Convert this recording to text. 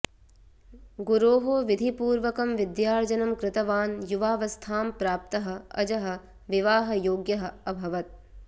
गुरोः विधिपूर्वकं विद्यार्जनं कृतवान् युवावस्थां प्राप्तः अजः विवाहयोग्यः अभवत्